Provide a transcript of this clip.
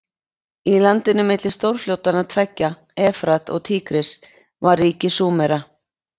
Í landinu milli stórfljótanna tveggja, Efrat og Tígris, var ríki Súmera.